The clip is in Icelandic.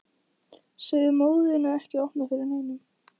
Segðu móður þinni að opna ekki fyrir neinum.